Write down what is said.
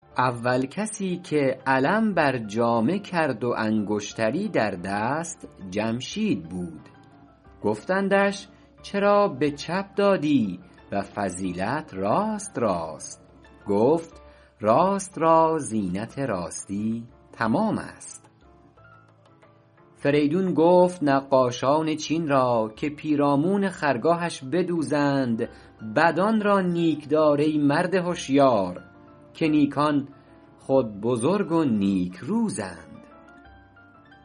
اول کسی که علم بر جامه کرد و انگشتری در دست جمشید بود گفتندش چرا به چپ دادی و فضیلت راست راست گفت راست را زینت راستی تمام است فریدون گفت نقاشان چین را که پیرامون خرگاهش بدوزند بدان را نیک دار ای مرد هشیار که نیکان خود بزرگ و نیک روزند